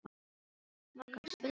Morgan, spilaðu tónlist.